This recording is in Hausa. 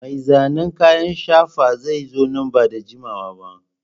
Mai zanen kayan shafa zai zo nan ba da jimawa ba.